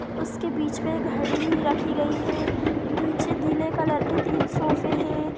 उसके बीच में घडी रखी गई है बीच नीले कलर के तीन सोफे है।